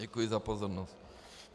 Děkuji za pozornost.